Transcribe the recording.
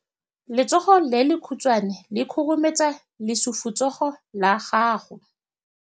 Letsogo le lekhutshwane le khurumetsa lesufutsogo la gago.